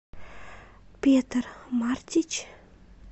петар мартич